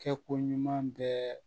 Kɛ ko ɲuman bɛɛ